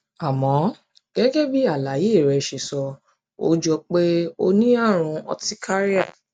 àmọ gẹgẹ bí àlàyé rẹ ṣe sọ ó jọ pé o ní àrùn urticaria